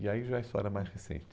E aí já isso era mais recente.